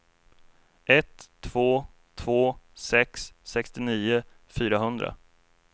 ett två två sex sextionio fyrahundra